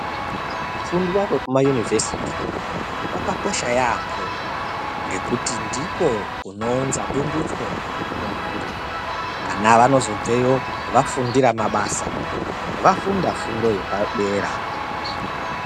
Kufundwa kwekuma univhesiti kwakakosha yambo ngekuti ndiko kunounzwa bundutso mumhuri vana vanozobveyo vafundira mabasa vafunda fundo yepadera.